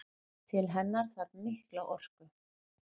Til hennar þarf mikla orku.